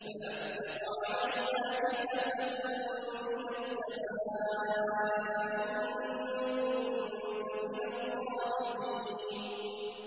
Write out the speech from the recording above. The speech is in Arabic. فَأَسْقِطْ عَلَيْنَا كِسَفًا مِّنَ السَّمَاءِ إِن كُنتَ مِنَ الصَّادِقِينَ